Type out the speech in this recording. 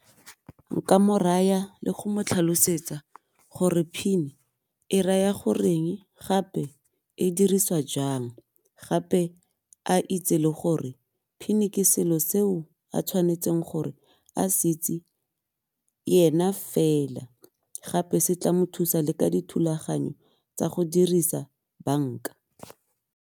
Nka mo raya le go mo tlhalosetsa gore PIN e raya goreng gape e diriswa jang, gape a itse le gore PIN ke selo seo a tshwanetseng gore a se itse yena fela gape se tla mo thusa le ka dithulaganyo tsa go dirisa bank-a.